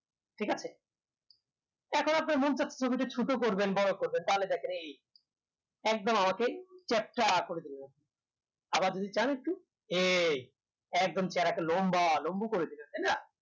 ঠিক আছে এখন আপনার মন চাই ছবিটা ছোট করবেন বড়ো করবেন তাহলে দেখেন এই একদম আমাকে চাপটা করে দিলাম আবার যদি চান একটু এই একদম লম্বা লম্বু করে দিলো তাইনা